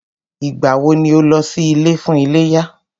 Ìgbà wọ ni o lọ sí ilé fún iléyá?